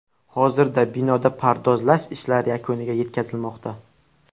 Hozirda binoda pardozlar ishlari yakuniga yetkazilmoqda.